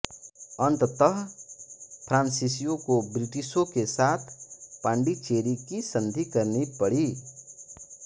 अंततः फ्रांसीसियों को ब्रिटिशों के साथ पान्डिचेरी की संधि करनी पड़ी